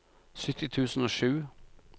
sytti tusen og sju